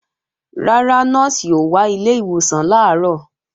Rárá, Nọ́ọ̀sì ò wá ilé ìwòsàn làárọ̀